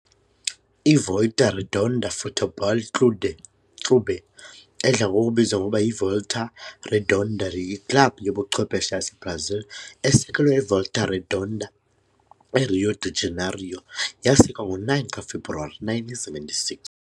I-Volta Redonda Futebol Clude Clube, edla ngokubizwa ngokuba yiVolta Redonda, yiklabhu yobuchwephesha yaseBrazil esekelwe eVolta Redonda, eRio de Janeiro yasekwa ngo-9 kaFebruwari 1976.